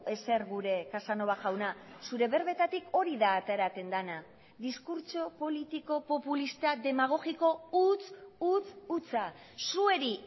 ezer gure casanova jauna zure berbetatik hori da ateratzen dena diskurtso politiko populista demagogiko huts hutsa zuei